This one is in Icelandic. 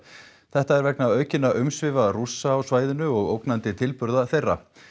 þetta er vegna aukinna umsvifa Rússa á svæðinu og ógnandi tilburða þeirra